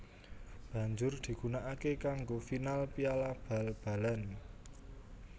Banjur digunakake kanggo final Piala bal balan